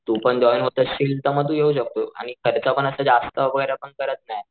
तू पण जॉईन होत असशील तर तु येऊ शकतो आणि खर्च जास्त वैगरे आपण करत नाय.